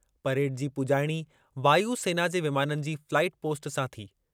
Parade जी पुॼाइणी वायु सेना जे विमाननि जे फ़्लाईपोस्ट सां थी।